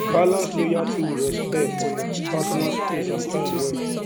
balance loyalty with respect for your personal space and time well